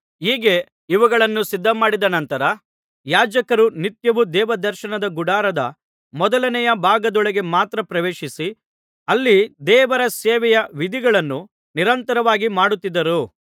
ಹೀಗೆ ಇವುಗಳನ್ನು ಸಿದ್ಧಮಾಡಿದ ನಂತರ ಯಾಜಕರು ನಿತ್ಯವೂ ದೇವದರ್ಶನ ಗುಡಾರದ ಮೊದಲನೆಯ ಭಾಗದೊಳಗೆ ಮಾತ್ರ ಪ್ರವೇಶಿಸಿ ಅಲ್ಲಿ ದೇವರ ಸೇವೆಯ ವಿಧಿಗಳನ್ನು ನಿರಂತರವಾಗಿ ಮಾಡುತ್ತಿದ್ದರು